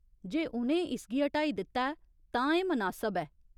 जे उ'नें इसगी हटाई दित्ता ऐ तां एह् मनासब ऐ।